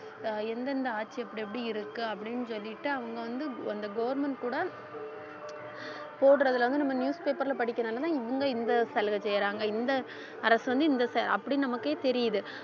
ஆஹ் எந்தெந்த ஆட்சி இப்படி எப்படி இருக்கு அப்படின்னு சொல்லிட்டு அவங்க வந்து அந்த government கூட போடறதுல வந்து நம்ம newspaper ல படிக்கிறதுனாலதான் இவங்க இந்த சலுகை செய்யறாங்க இந்த அரசு வந்து இந்த ச~ அப்படி நமக்கே தெரியுது